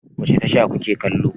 Wace tasha ku ke kallo?